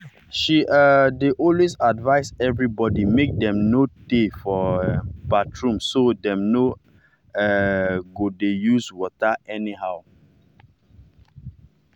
she um dey always advice everybody make dem no no tey for um bathroom so dem no um go dey use water anyhow.